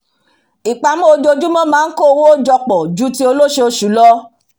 ìpamọ́ ojoojumọ́ maa n kó owo jọpọ̀ ju ti olosoosu lọ